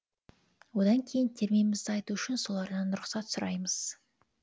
одан кейін термемізді айту үшін солардан рұқсат сұраймыз